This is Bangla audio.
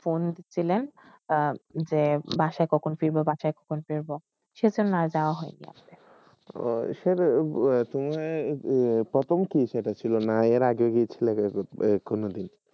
ফোন ডিসিলেন যে বাসে বাসে সেইটা না জবা হয়